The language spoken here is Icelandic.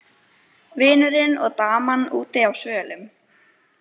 Vinurinn og daman úti á svölum.